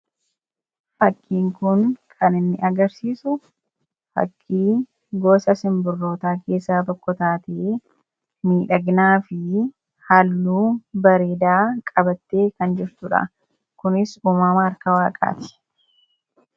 Suuraa kanaa gadii irratti kan argamu gosa simbirrootaa keessaa tokko kan taatee fi qofaa kan jirtuu dha.